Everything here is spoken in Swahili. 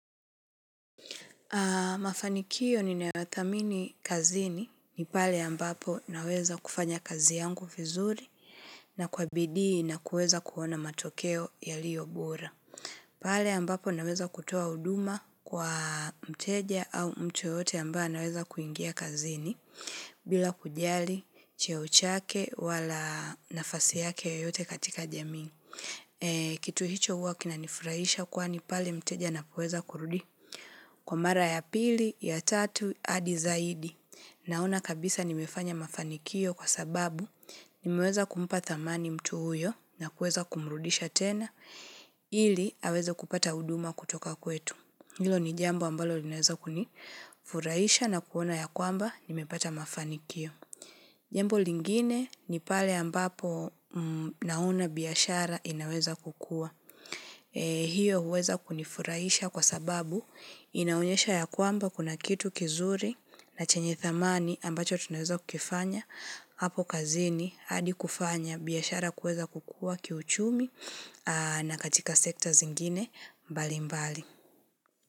Mafanikiyo ninayothamini kazini ni pale ambapo naweza kufanya kazi yangu vizuri na kwa bidii na kuweza kuona matokeo yaliyo bora. Pale ambapo naweza kutoa huduma kwa mteja au mtu yoyote ambaye anaweza kuingia kazini bila kujali cheo chake wala nafasi yake yoyote katika jamii. Kitu hicho huwa kinanifurahisha kwani pale mteja anapoweza kurudi. Kwa mara ya pili, ya tatu, hadi zaidi. Naona kabisa nimefanya mafanikio kwa sababu nimeweza kumpa thamani mtu huyo na kuweza kumrudisha tena ili aweza kupata huduma kutoka kwetu. Hilo ni jambo ambalo linaweza kunifuraisha na kuona ya kwamba nimepata mafanikio. Jambo lingine ni pale ambapo naona biashara inaweza kukua. Hio huweza kunifurahisha kwa sababu inaonyesha ya kwamba kuna kitu kizuri na chenye thamani ambacho tunaweza kukifanya. Hapo kazini hadi kufanya biashara kuweza kukua kiuchumi na katika sekta zingine mbalimbali.